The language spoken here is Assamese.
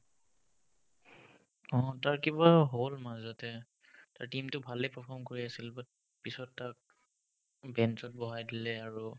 অ, তাৰ কিবা হ'ল মাজতে তাৰ team টো ভালে perform কৰি আছিল but পিছত তাক বেঞ্চত বহাই দিলে আৰু